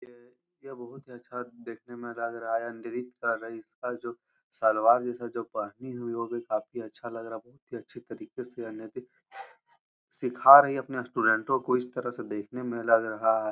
ये ये बोहोत ही अच्छा देखने में लग रहा है। अंदरित कर रही है जो सलवार जैसा जो पहनी हुई वो भी काफी अच्छा लग रहा है। बोहोत ही अच्छी तरीके से सिखा रही है अपनी स्टूडेंटों को इस तरह से देखने में लग रहा है।